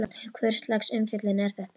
Hvurslags umfjöllun er þetta?